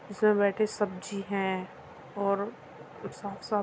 इसमे बैठी सब्जी हैं और साफ-साफ --